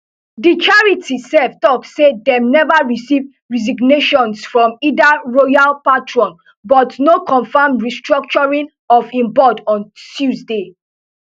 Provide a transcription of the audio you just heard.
di charity sef tok say dem never receive resignations from either royal patron but no confirm restructuring of im board on tuesday